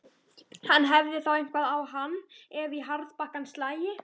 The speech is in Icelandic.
Hann hefði þá eitthvað á hann, ef í harðbakkann slægi.